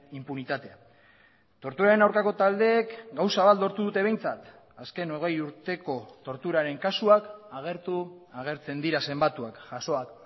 inpunitatea torturaren aurkako taldeek gauza bat lortu dute behintzat azken hogei urteko torturaren kasuak agertu agertzen dira zenbatuak jasoak